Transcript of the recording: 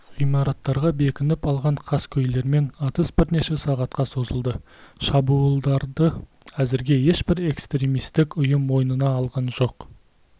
ғимараттарға бекініп алған қаскөйлермен атыс бірнеше сағатқа созылды шабуылдарды әзірге ешбір экстремистік ұйым мойнына алған жоқ